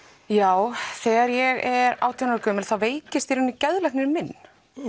já þegar ég er átján ára gömul þá veikist í raun geðlæknirinn minn